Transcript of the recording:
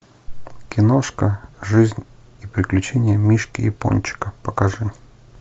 киношка жизнь и приключения мишки япончика покажи